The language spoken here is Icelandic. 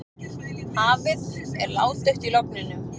Hafið er ládautt í logninu.